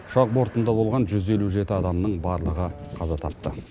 ұшақ бортында болған жүз елу жеті адамның барлығы қаза тапты